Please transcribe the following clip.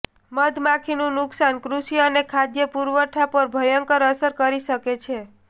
મધમાખીનું નુકસાન કૃષિ અને ખાદ્ય પુરવઠા પર ભયંકર અસર કરી શકે છે